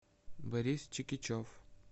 борис чикичев